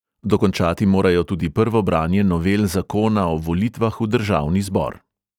Dokončati morajo tudi prvo branje novel zakona o volitvah v državni zbor.